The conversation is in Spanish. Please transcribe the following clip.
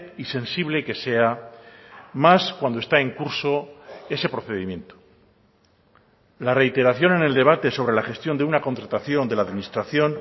y sensible que sea más cuando está en curso ese procedimiento la reiteración en el debate sobre la gestión de una contratación de la administración